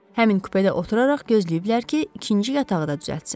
Həmin kupedə oturaraq gözləyiblər ki, ikinci yatağı da düzəltsin.